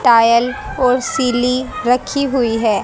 Tile और सिली रखी हुई है।